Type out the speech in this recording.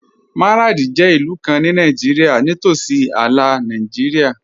Maradi jẹ ilù kàn ní Nàìjírìà, ní tósí àlà Nàìjírìà.